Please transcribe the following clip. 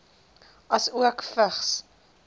asook vigs